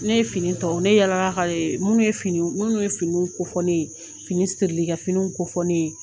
Ne ye fini tɔw ne yaala minnu ye fini minnu ye finiiniw kofɔ ne ye finiw sirili ka finiw kofɔ ye